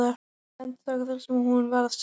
Hún endurtók það sem hún var að segja.